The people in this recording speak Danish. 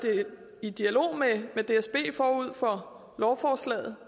i dialog med dsb forud for lovforslaget